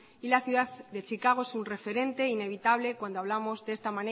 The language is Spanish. y la ciudad de chicago es un referente inevitable cuando hablamos de esta